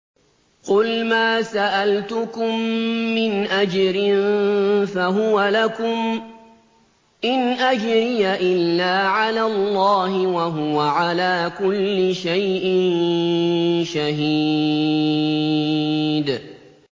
قُلْ مَا سَأَلْتُكُم مِّنْ أَجْرٍ فَهُوَ لَكُمْ ۖ إِنْ أَجْرِيَ إِلَّا عَلَى اللَّهِ ۖ وَهُوَ عَلَىٰ كُلِّ شَيْءٍ شَهِيدٌ